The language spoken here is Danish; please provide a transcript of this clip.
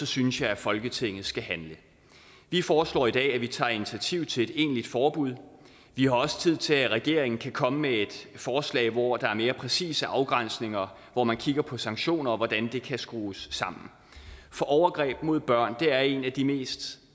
synes jeg at folketinget skal handle vi foreslår i dag at vi tager initiativ til et egentligt forbud vi har også tid til at regeringen kan komme med et forslag hvor der er mere præcise afgrænsninger og hvor man kigger på sanktioner og på hvordan det kan skrues sammen for overgreb mod børn er en af de mest